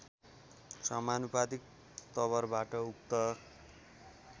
समानुपातिक तवरबाट उक्त